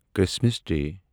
Christmas day